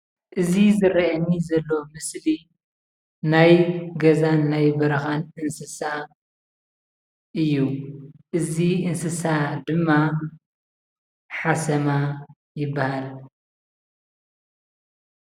እዚ ዝረኣየኒ ዘሎ ምስሊ ናይ ገዛን ናይ በረኻን እንስሳ እዩ ።እዚ እንስሳ ድማ ሓሰማ ይበሃል።